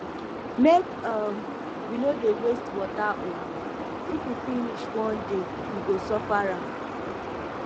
make um we no dey waste water oo if e finish one day we go suffer am